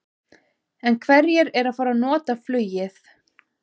En hverjir eru að nota flugið?